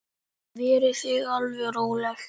Verið þið alveg róleg.